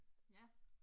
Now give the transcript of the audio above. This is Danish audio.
Ja